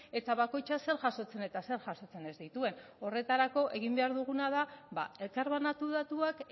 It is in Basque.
eta bakoitza zer jasotzen eta zer jasotzen ez dituen horretarako egin behar duguna da ba elkar banatu datuak